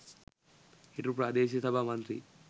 හිටපු ප්‍රාදේශීය සභා මන්ත්‍රී